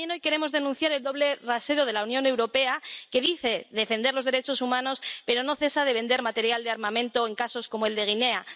Pero también hoy queremos denunciar el doble rasero de la Unión Europea, que dice defender los derechos humanos, pero no cesa de vender material de armamento en casos como el de Guinea